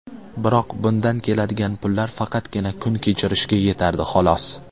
Biroq bundan keladigan pullar faqatgina kun kechirishga yetardi, xolos.